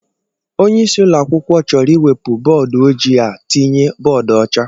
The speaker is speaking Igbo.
Onyeisi ụlọakwụkwọ chọrọ iwepu bọọdụ oji a tinye bọọdụ ọcha